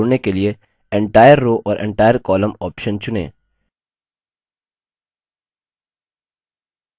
एक row और column को जोड़ने के लिए entire row और entire column option चुनें